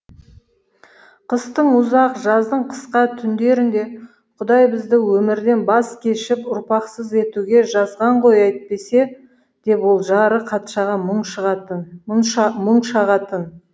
қыстың ұзақ жаздың қысқа түндерінде құдай бізді өмірден баз кешіп ұрпақсыз өтуге жазған ғой әйтпесе деп ол жары қатшаға мұң шағатын